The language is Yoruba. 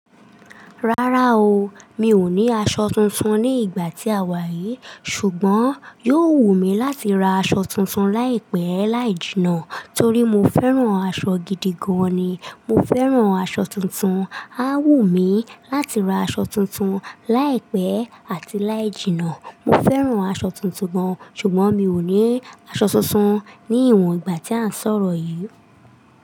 Rárá o, mi ò ní aṣọ tuntun ní ìgbà tí àwa yìí ṣùgbọ́n yóò wù mí láti ra aṣọ tuntun láìpẹ́ láì jìnnà torí mo fẹ́ran aṣọ gidi gan ni. Mo fẹ́ran aṣọ tuntun, a wù mí láti ra aṣọ tuntun láìpẹ́ àti láì jìnnà. Mo fẹ́ran aṣọ tuntun gan ṣùgbọ́n mi ò ní aṣọ tuntun ní ìwọ̀n ìgbà tí a ń sọ̀rọ̀ yìí.